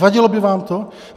Vadilo by vám to?